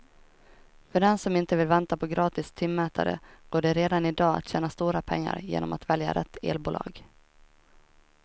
För den som inte vill vänta på gratis timmätare går det redan i dag att tjäna stora pengar genom att välja rätt elbolag.